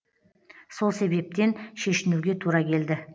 сол себептен шешінуге тура келді